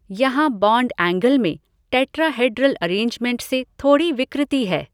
यहाँ bond angle में tetrahedral arrangement से थोड़ी विकृति है।